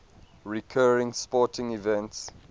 recurring sporting events